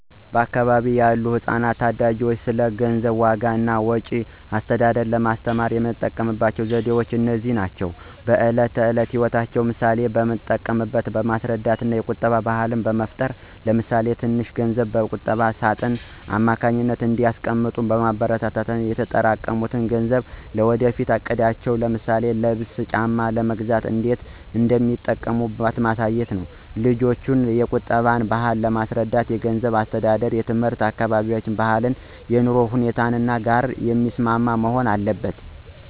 ወደ አካባቢዬ ያሉ ህጻናትና ታዳጊዎች ስለ ገንዘብ ዋጋ እና ወጪ አስተዳደር ለማስተማር የምጠቀመው ዘዴዎች እነዚህ ናቸው፦ በዕለት ተዕለት ሕይወት ምሳሌዎችን በመጠቀም ማስረዳት የቁጠባ ባህል መፍጠር ለምሳሌ ትንሽ ገንዘብ በቁጠባ ሳጥን አማካኝነት እንዲያስቀምጡ ማበረታታት እና የተጠራቀሙት ገንዘብ ለወደፊት እቅዳቸው ለምሳሌ ልብስ ጫማ ለመግዛት እንዴት እንደሚጠቅም ማሳየት። ልጆችን የቁጠባን ባህል ለማስረዳት የገንዘብ አስተዳደር ትምህርት ከአካባቢያችን ባህልና የኑሮ ሁኔታ ጋር የሚስማማ መሆን አለበት።